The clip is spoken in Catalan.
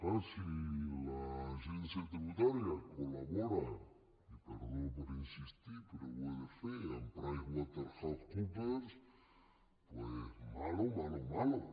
és clar si l’agència tributària col·labora i perdó per insistir hi però ho he de fer amb pricewaterhousecoopers malo malo malo